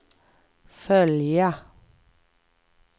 följa